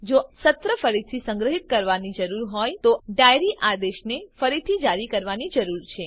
જો આપણને સત્ર ફરીથી સંગ્રહિત કરવાની જરૂર હોય તો આપણને ડાયરી આદેશને ફરીથી જારી કરવાની જરૂર છે